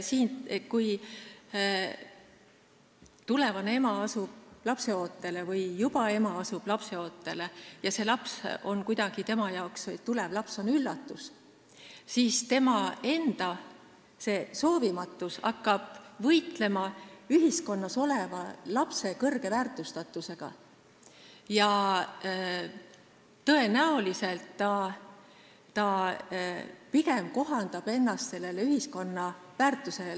Kui tulevane ema või juba ema jääb lapseootele ja see laps on talle kuidagi üllatus, siis tema enda soovimatus hakkab võitlema sellega, et ühiskonnas lapsi kõrgelt väärtustatakse, ja ta tõenäoliselt pigem kohandab ennast ühiskonna väärtusega.